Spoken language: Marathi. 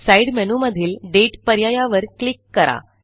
साइड मेनूमधीलDateपर्यायावर क्लिक करा